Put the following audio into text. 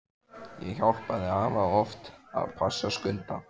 Ég hjálpaði afa oft að passa Skunda.